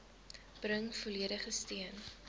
bring volledige steun